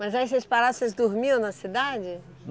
Mas aí, vocês paravam, vocês dormiam na cidade?